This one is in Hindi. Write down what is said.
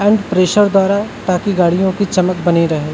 हाई प्रेशर द्वारा ताकि गाड़ियों की चमक बनी रहे।